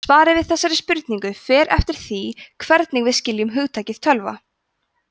svarið við þessari spurningu fer eftir því hvernig við skiljum hugtakið tölva